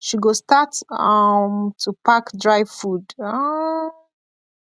she go start um to pack dry food um